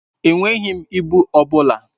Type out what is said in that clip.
Enweghị m ịbụ ọ bụla.